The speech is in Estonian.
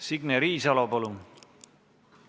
Signe Riisalo, palun!